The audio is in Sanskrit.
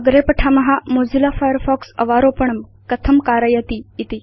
अग्रे पठाम मोजिल्ला फायरफॉक्स अवारोपणं कथं कारयति इति